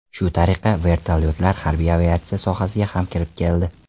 Shu tariqa, vertolyotlar harbiy aviatsiya sohasiga ham kirib keldi.